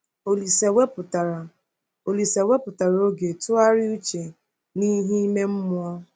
Olise wepụtara Olise wepụtara oge tụgharịa uche n’ihe ime mmụọ.